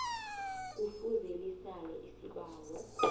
kufuze lisale isibawo